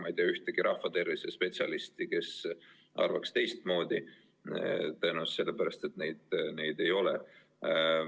Ma ei tea ühtegi rahvatervisespetsialisti, kes arvaks teistmoodi – tõenäoliselt sellepärast, et neid ei ole.